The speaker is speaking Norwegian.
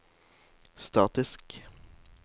statisk